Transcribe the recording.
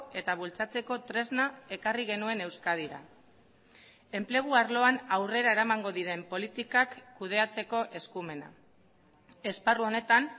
eta bultzatzeko tresna ekarri genuen euskadira enplegu arloan aurrera eramango diren politikak kudeatzeko eskumena esparru honetan